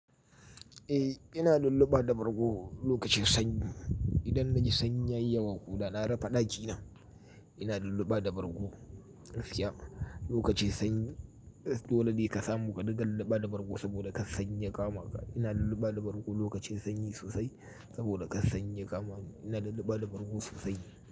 Eh, ina lullaba da bargo lokacin sanyi. Idan na ji sanyi yayi yawa ko da na rufe daki na, ina lullaba da bargo. Gaskiya lokacin sanyi dole ne ka samu ka ɗinga lullaba da bargo saboda kar sanyi ya kama ka. Ina lullaba da bargo lokacin sanyi sosai saboda kar sanyi ya kama ni. Ina lullaba da bargo sosai.